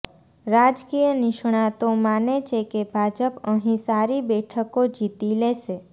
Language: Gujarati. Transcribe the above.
રાજકીય નિષ્ણાતો માને છે કે ભાજપ અહીં સારી બેઠકો જીતી લેશે